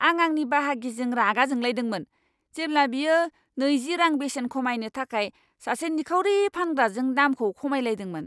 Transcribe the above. आं आंनि बाहागिजों रागा जोंलायदोंमोन जेब्ला बियो नैजि रां बेसेन खमायनो थाखाय सासे निखावरि फानग्राजों दामखौ खमायलायदोंमोन।